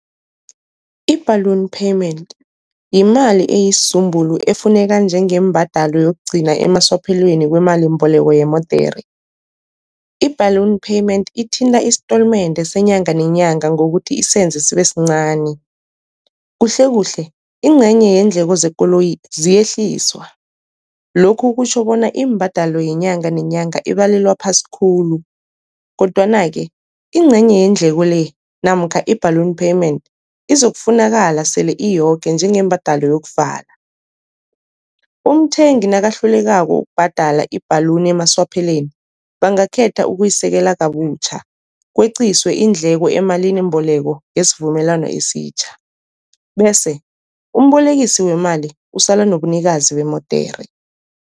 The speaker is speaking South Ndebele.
I-balloon payment yimali esizumbulu efuneka njengembadalo yokugcina emaswapheleni wemalimboleko yemodere. I-balloon payment ithinta istolmende senyanga nenyanga ngokuthi isenze sibe sincani, kuhle kuhle incenye yeendleko zekoloyi ziyehliswa. Lokhu kutjho bona imbadalo yenyanga nenyanga ibalelwa phasi khulu, kodwana-ke incenye yeendleko le namkha i-balloon payment izokufunakala sele iyoke njengembadalo yokuvala. Umthengi nakahlulekako ukubhadala i-balloon emaswapheleni bangakhetha ukuyisekela kabutjha kweqiswe iindleko emalinimboleko ngesivumelwano esitjha, bese umbolekisi wemali usala nobunikazi bemodere.